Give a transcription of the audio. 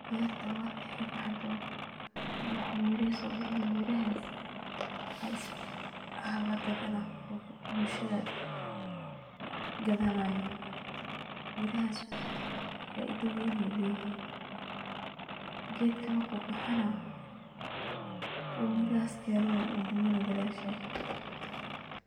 Berta markey baxdo miro ayey sobixini, mirahas aya lagadanaya oo bulshada ey gadanayin. Mirahas faido badan ayey leyihin, gedka marku baxana oo mirahas keno wu dimana gadashed.